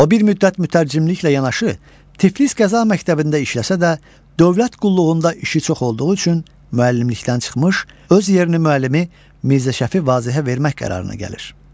O bir müddət mütərcimliklə yanaşı Tiflis qəza məktəbində işləsə də, dövlət qulluğunda işi çox olduğu üçün müəllimlikdən çıxmış, öz yerini müəllimi Mirzə Şəfi Vazehə vermək qərarına gəlir.